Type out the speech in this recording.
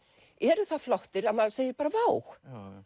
eru það flottir að maður segir bara vá